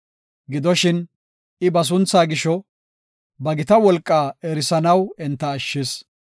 Gidoshin, I ba sunthaa gisho, ba gita wolqaa erisanaw enta ashshis.